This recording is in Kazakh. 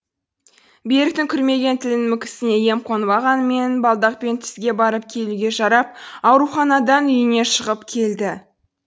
беріктің күрмелген тілінің мүкісіне ем қонбағанымен балдақпен түзге барып келуге жарап ауруханадан үйіне шығып келді